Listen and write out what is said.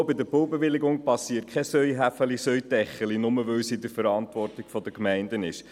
Auch bei den Baubewilligungen gibt es kein «eine Hand wäscht die andere», nur, weil es in der Verantwortung der Gemeinden liegt.